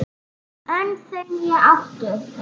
Önd þau né áttu